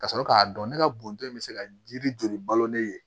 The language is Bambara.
Ka sɔrɔ k'a dɔn ne ka bɔntɔ in bɛ se ka jiri joli balo ne ye